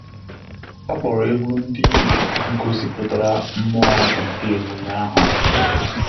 Ọ́ kpọ̀rọ́ égwu ndị gọ́sị̀pụ̀tárà mmụọ nke ememe ahụ.